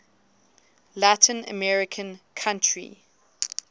latin american country